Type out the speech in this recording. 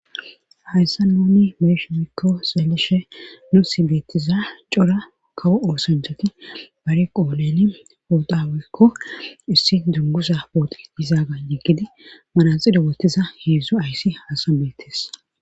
Hayssa nuuni beishi mikko seelishe nu sibeetiza cora kawo oosanjati bari qoolele poodaweekko issi dungusa pooxi izaaga yeggidi manaxido wottiza heedzdzu ayssi haasa beettes.